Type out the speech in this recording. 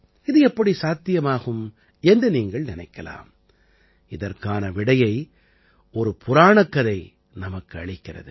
இது எப்படி சாத்தியமாகும் என்று நீங்கள் நினைக்கலாம் இதற்கான விடையை ஒரு புராணக்கதை நமக்கு அளிக்கிறது